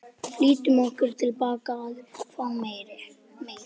Hvaða hugmyndir hafði hann um uppruna jarðarinnar og lífsins?